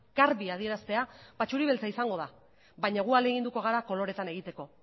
garbi adieraztea ba txuri beltza izango da baina gu ahaleginduko gara koloreetan egiteko